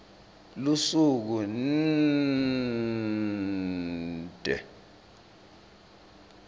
lusuku nnnnnnnnd d